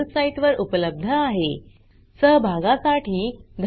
या ट्यूटोरियल चे भाषांतर कविता साळवे यांनी केले असून मी रंजना भांबळे आपला निरोप घेते